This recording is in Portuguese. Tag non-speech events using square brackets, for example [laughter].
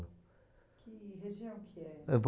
Que região que é? [unintelligible]